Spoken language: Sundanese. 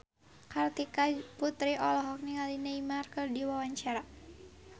Kartika Putri olohok ningali Neymar keur diwawancara